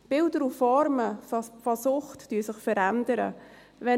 Die Bilder und Formen von Sucht verändern sich.